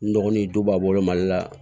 N dɔgɔnin du b'a bolo mali la